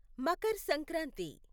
Makar Sankranti